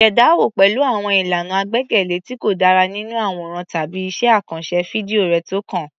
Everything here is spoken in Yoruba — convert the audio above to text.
Ṣàdánwò pẹ̀lú àwọn ìlànà àgbékalẹ̀ tí kò dára nínú àwòrán tàbí iṣẹ́ àkànṣe fídíò rẹ tó kàn.